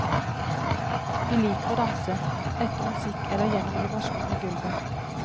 Vi liker å danse, etter musikk eller gjennom vibrasjoner i gulvet.